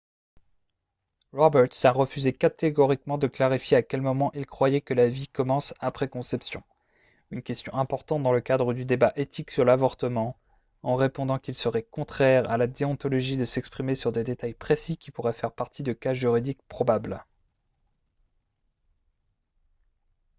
roberts a refusé catégoriquement de clarifier à quel moment il croyait que la vie commence après conception une question importante dans le cadre du débat éthique sur l'avortement en répondant qu'il serait contraire à la déontologie de s'exprimer sur des détails précis qui pourraient faire partie de cas juridiques probables